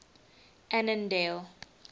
annandale